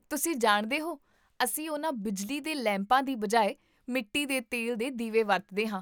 ਤੁਸੀਂ ਜਾਣਦੇ ਹੋ, ਅਸੀਂ ਉਨ੍ਹਾਂ ਬਿਜਲੀ ਦੇ ਲੈਂਪਾਂ ਦੀ ਬਜਾਏ ਮਿੱਟੀ ਦੇ ਤੇਲ ਦੇ ਦੀਵੇ ਵਰਤਦੇ ਹਾਂ